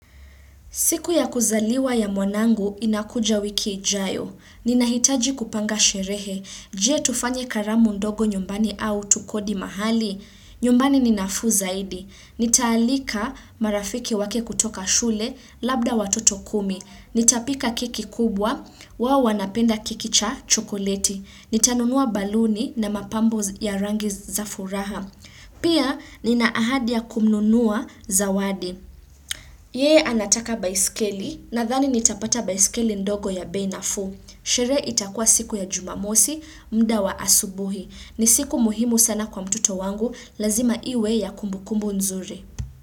Siku ya kuzaliwa ya mwanangu inakuja wiki ijayo. Ninahitaji kupanga sherehe. Je tufanye karamu ndogo nyumbani au tukodi mahali? Nyumbani ni nafuu zaidi. Nitaalika marafiki wake kutoka shule, labda watoto kumi. Nitapika keki kubwa, wao wanapenda keki cha chokoleti. Nitanunua baluni na mapambo ya rangi za furaha. Pia nina ahadi ya kununua zawadi. Ye anataka baiskeli nadhani nitapata baiskeli ndogo ya bei nafuu. Sheree itakua siku ya jumamosi, mda wa asubuhi. Ni siku muhimu sana kwa mtoto wangu, lazima iwe ya kumbukumbu nzuri.